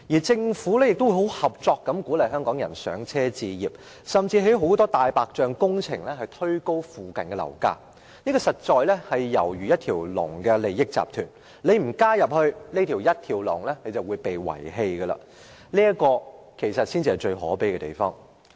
政府亦十分合作地鼓勵香港人"上車"置業，甚至興建很多"大白象"工程，推高附近的樓價，猶如一條龍的利益集團，不加入這條龍的話，便會被遺棄；這才是最可悲的地方。